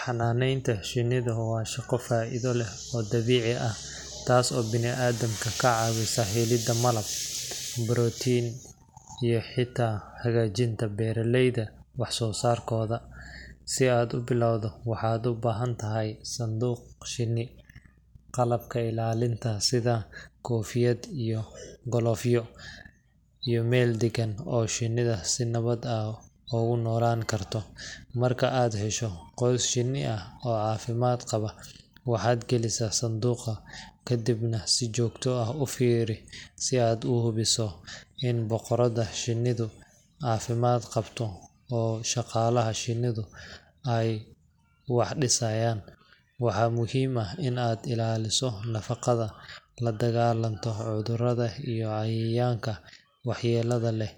Xanaanaynta shinnidu waa shaqo faa’iido leh oo dabiici ah, taas oo bini’aadamka ka caawisa helidda malab, barootiin iyo xitaa hagaajinta beeralayda wax soo saarkooda. Si aad u bilowdo, waxaad u baahan tahay sanduuq shinni, qalabka ilaalinta sida koofiyad iyo galoofyo, iyo meel deggan oo shinnidu si nabad ah ugu noolaan karto. Marka aad hesho qoys shinni ah oo caafimaad qaba, waxaad gelisaa sanduuqa, kadibna si joogto ah u fiiri si aad u hubiso in boqoradda shinnidu caafimaad qabto oo shaqaalaha shinnidu ay wax dhisayaan. Waxaa muhiim ah in aad ilaaliso nadaafadda, la dagaallanto cudurrada iyo cayayaanka waxyeellada leh,